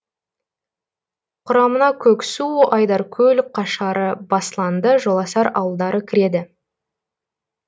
құрамына көксу айдаркөл қашары басланды жоласар ауылдары кіреді